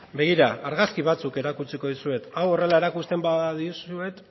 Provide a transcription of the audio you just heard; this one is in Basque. begira argazki batzuk erakutsiko dizuet hau horrela erakusten badizuet